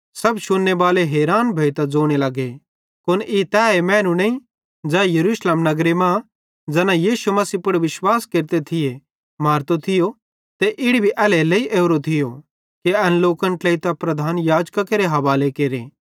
सब शुन्ने बाले हैरान भोइतां ज़ोने लग्गे कुन ई तैए मैनू नईं ज़ै यरूशलेम नगरे मां ज़ैना यीशु मसीह पुड़ विश्वास केरते थिये मारतो थियो ते इड़ी भी एल्हेरेलेइ ओरो थियो कि एन लोकन ट्लेइतां प्रधान याजकां केरे हवाले केरे